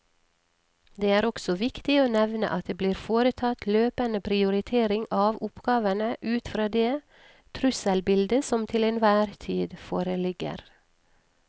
Det er også viktig å nevne at det blir foretatt løpende prioritering av oppgavene ut fra det trusselbildet som til enhver tid foreligger.